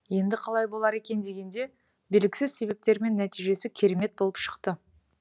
енді қалай болар екен дегенде белгісіз себептермен нәтижесі керемет болып шықты